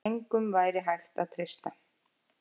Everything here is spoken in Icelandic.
Engum væri hægt að treysta.